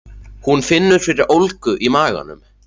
Hún finnur fyrir ólgu í maganum.